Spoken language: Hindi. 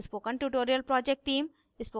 spoken tutorial project team: